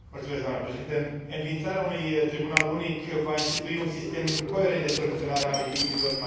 Înființarea unui tribunal unic va institui un sistem coerent de soluționare a litigiilor în materie de brevete.